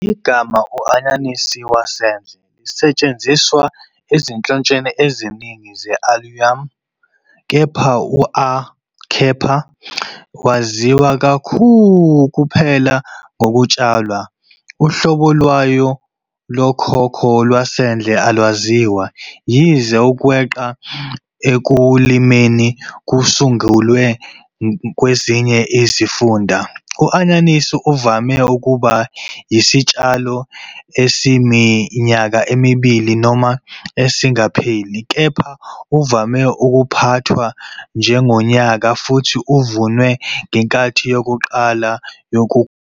Igama "u- anyanisi wasendle " lisetshenziswa ezinhlotsheni eziningi ze- "Allium", kepha u- "A. cepa" waziwa kuphela ngokutshalwa. Uhlobo lwayo lokhokho lwasendle alwaziwa, yize ukweqa ekulimeni sekusungulwe kwezinye izifunda. U-anyanisi uvame ukuba yisitshalo esiyiminyaka emibili noma esingapheli, kepha uvame ukuphathwa njengonyaka futhi uvunwe ngenkathi yokuqala yokukhula.